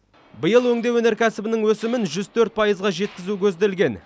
биыл өңдеу өнеркәсібінің өсімін жүз төрт пайызға жеткізу көзделген